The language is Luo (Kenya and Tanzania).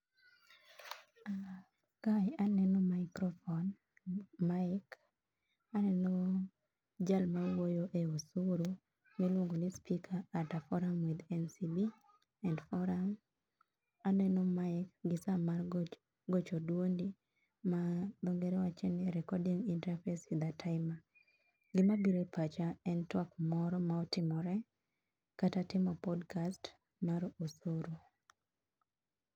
Kae aneno microphone, mic, aneno jal ma wuoyo e osuru miluongo ni speaker at a forum with NCB and forum. Aneno mic gi saa mar gocho duondi ma dho ngere luongo ni recording interface with a timer. Gima biro e pacha en twak moro motimore kata timo [sc]podcast mar osuru